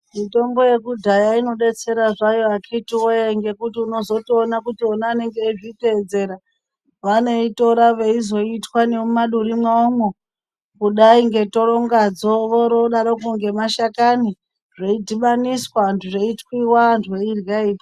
Mitombo yekudhaya ino detsera zvayo akiti wee ngekuti unozoto ona kuti vona anengeveizvi tedzera vanoi tora veizo itwa nemu maduri mwawo mwo kudai nge torongadzo vori vodaroko nge mashakani zvei dhibaniswa zvei twiwa antu eyirya.